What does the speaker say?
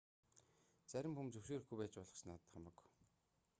зарим хүн зөвшөөрөхгүй байж болох ч надад хамаагүй